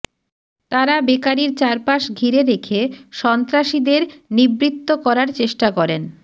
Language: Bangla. তারা বেকারির চারপাশ ঘিরে রেখে সন্ত্রাসীদের নিবৃত্ত করার চেষ্টা করেন